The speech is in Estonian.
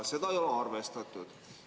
" Seda ei ole arvestatud.